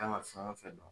Kan ka fɛn o fɛn dɔn